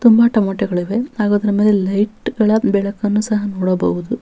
ತುಂಬಾ ಟೊಮೇಟೊಗಳಿವೆ ಹಾಗೂ ಅದರ ಮೇಲೆ ಲೈಟ್ ಗಳ ಬೆಳಕನ್ನು ಸಹ ನೋಡಬಹುದು.